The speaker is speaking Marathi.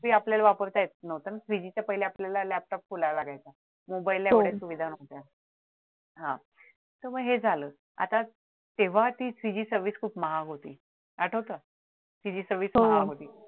ते आपल्याला पाहिलं वापरताच येत नव्हतं ना three G च्या पहिले आपल्याला laptop खोलावा लागायचा ना पहिल्या आपल्याकडे सुविधा नव्हती हा तर मग हे झालं आता तेव्हाची three G service खूप महाग होती आठवत three G service महाग होती